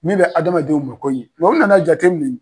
Min bɛ adamadenw mako ɲɛ u nan'a jate minɛ.